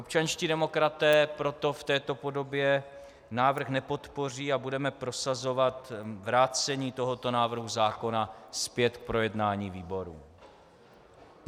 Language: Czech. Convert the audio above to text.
Občanští demokraté proto v této podobě návrh nepodpoří a budeme prosazovat vrácení tohoto návrhu zákona zpět k projednání výborům.